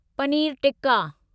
पनीरु tikka